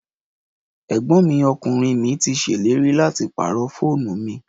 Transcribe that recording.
Ẹ̀gbọ́n mi ọkùnrin mi ti ṣèlérí láti pàrọ̀ fóònù mi